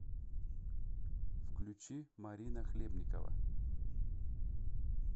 включи марина хлебникова